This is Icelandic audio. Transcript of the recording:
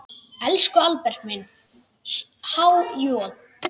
Elsku Albert minn, há joð.